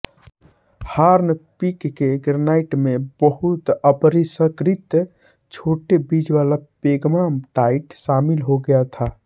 हार्ने Peak के granite में बहुत अपरिष्कृत छोटे बीजवाला पेग्माटाइट शामिल हो गया था